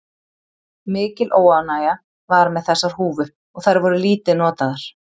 Mikil óánægja var með þessar húfur og þær voru lítið notaðar.